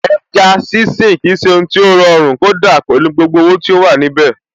Ẹja sínsìn kì í ṣe ohun tí ó rọrùn kódà pẹ̀lú gbogbo owó tí ó wà níbẹ̀.